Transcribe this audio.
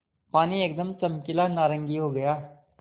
पानी एकदम चमकीला नारंगी हो गया